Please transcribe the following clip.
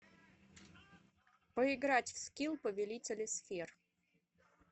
поиграть в скил повелители сфер